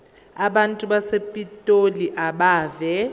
abantu basepitoli abeve